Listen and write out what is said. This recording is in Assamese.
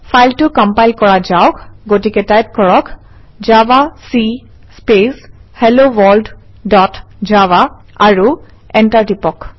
ফাইলটো কম্পাইল কৰা যাওক গতিকে টাইপ কৰক - জাভাক স্পেচ হেলোৱৰ্ল্ড ডট জাভা আৰু এণ্টাৰ টিপক